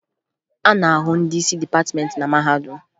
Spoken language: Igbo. A na-ahụ ndị isi dịpatịmentị na mahadum